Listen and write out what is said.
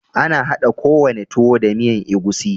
Ana hada ko wane tuwo da miyan egusi.